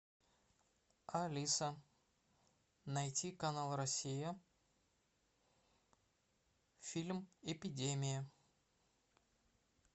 алиса найти канал россия фильм эпидемия